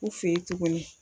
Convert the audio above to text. U fɛ ye tuguni.